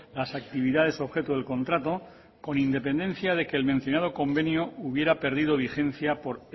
las actividades objeto del contrato con independencia de que el mencionado convenio hubiera perdido vigencia por